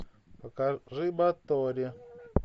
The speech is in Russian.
покажи батори